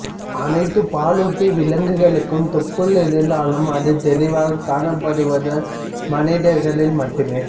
அணைத்து பாலூட்டி விலங்குகளுக்கும் தொப்புள் இருந்தாலும் அது தெளிவாக காணப்படுவது மனிதர்களில் மட்டுமே